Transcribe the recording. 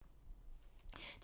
DR1